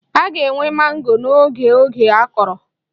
A ga-enwe mango n'oge oge akọrọ